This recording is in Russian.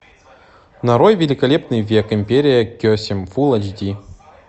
нарой великолепный век империя кесем фулл айч ди